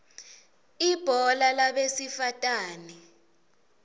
ibhola labesifatane